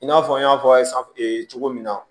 I n'a fɔ n y'a fɔ aw ye cogo min na